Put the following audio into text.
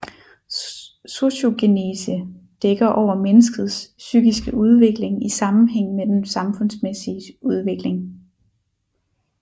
Sociogenese dækker over menneskets psykiske udvikling i sammenhæng med den samfundsmæssige udvikling